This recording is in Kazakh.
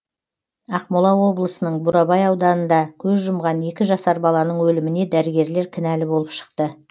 ақмола облысының бурабай ауданында көз жұмған екі жасар баланың өліміне дәрігерлер кінәлі болып шықты